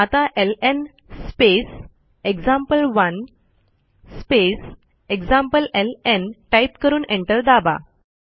आता LN space example one space एक्झाम्प्लेलं type करून एंटर दाबा